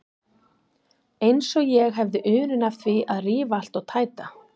Eins og ég hefði unun af því að rífa allt og tæta.